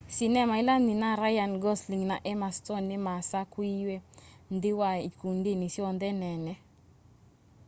sinema ila nyina ryan gosling na emma stone nimasakuiwe nthi wa ikundinĩ syonthe nene